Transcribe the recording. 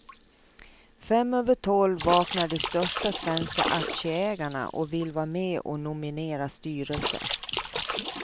Fem över tolv vaknar de största svenska aktieägarna och vill vara med och nominera styrelse.